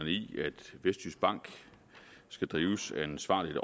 vestjyskbank skal drives ansvarligt